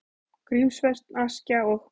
Grímsvötn, Askja og